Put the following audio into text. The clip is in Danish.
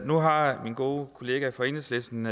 nu har min gode kollega fra enhedslisten